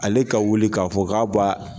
Ale ka wuli ka fɔ ka b'a